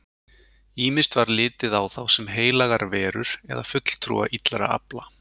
Ýmist var litið á þá sem heilagar verur eða fulltrúa illra afla.